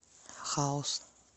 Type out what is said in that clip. хаус